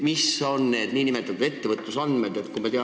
Mis on need nn ettevõtlusandmed?